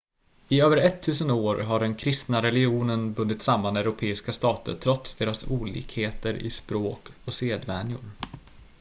i över ettusen år hade den kristna religionen bundit samman europeiska stater trots deras olikheter i språk och sedvänjor